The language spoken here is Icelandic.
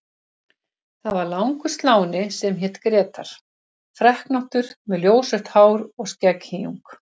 Það var langur sláni sem hét Grétar, freknóttur með ljósrautt hár og skegghýjung.